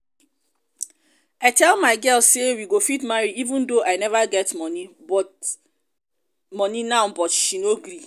i tell my girl say we go fit marry even though i never get money but money now but she no gree